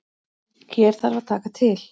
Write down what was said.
Hér þarf að taka til.